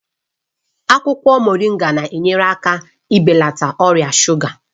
Akwụkwọ Moringa na-enyere aka ibelata ọrịa shuga